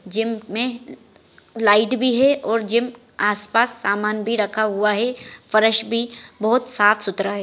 Gym में light भी है और जिम आसपास सामान भी रखा हुआ है फरश भी बहुत साफ़-सुथरा है।